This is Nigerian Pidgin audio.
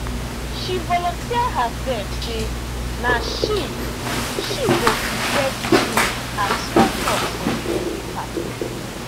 she volunteer herself say na she she go prepare the drinks and small chops for the birthday party